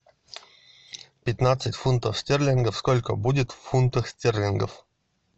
пятнадцать фунтов стерлингов сколько будет в фунтах стерлингов